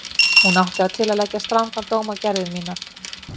Hún átti það til að leggja strangan dóm á gerðir mínar.